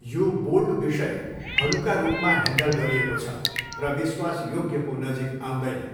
यो बोल्ड विषय हलुका रूपमा ह्यान्डल गरिएको छ र विश्वासयोग्यको नजिक आउँदैन।